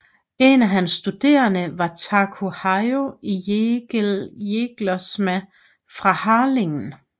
En af hans studerende var Taco Hayo Jelgersma fra Harlingen